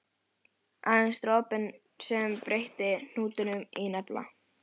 Aðeins dropinn sem breytti hnútnum í nafla.